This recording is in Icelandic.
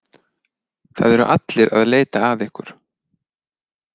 Það eru allir að leita að ykkur.